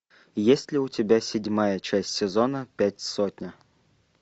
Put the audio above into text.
есть ли у тебя седьмая часть сезона пять сотня